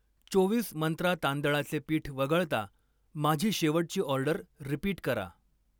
चोवीस मंत्रा तांदळाचे पीठ वगळता, माझी शेवटची ऑर्डर रिपीट करा.